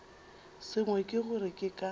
sengwe ke gore ke ka